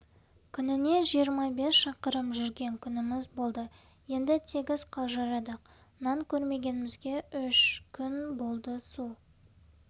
күніне жиырма бес шақырым жүрген күніміз болды енді тегіс қалжырадық нан көрмегенімізге үш күн болды су